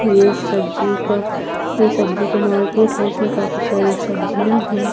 ये सब्जी का ये सब्जी का मार्केट है इसमें काफी सारी सब्जियां है।